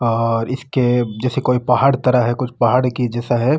और इसके जेसे कोई पहाड़ तरह है कुछ पहाड़ की जैसा है।